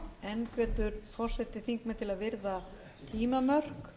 enn hvetur forseti þingmenn til að virða tímamörk